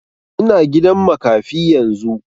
Ina gidan makafi yanzu